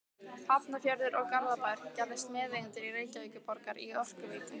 Hafnarfjörður og Garðabær gerðust meðeigendur Reykjavíkurborgar í Orkuveitu